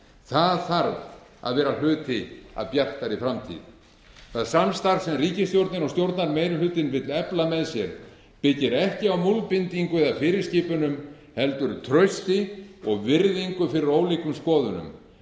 það þarf að vera hluti af bjartari framtíð það samstarf sem ríkisstjórnin og stjórnarmeirihlutinn vill efla með sér byggir ekki á múlbindingu eða fyrirskipunum heldur trausti og virðingu fyrir ólíkum skoðunum